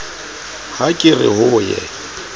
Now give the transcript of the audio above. ha ke re ho ye